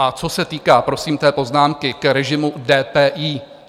A co se týká, prosím, té poznámky k režimu DPI.